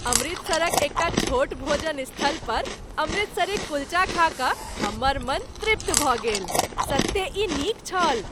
अमृतसरक एकटा छोट भोजन स्थल पर अमृतसरी कुल्चा खा कऽ हमर मन तृप्त भऽ गेल। सत्ते ई नीक छल